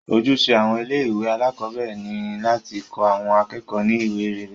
Ojúṣe àwọn ilé ìwé alákọ̀berẹ̀ ni láti kọ́ àwọn akẹ́kọ̀ọ́ ní iwa rere.